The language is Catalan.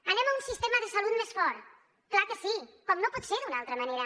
anem a un sistema de salut més fort clar que sí com no pot ser d’una altra manera